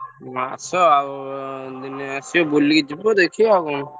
ଆସ ଆଉ ଦିନେ ଆସିବ ବୁଲିକି ଯିବ ଦେଖିବ ଆଉ କଣ।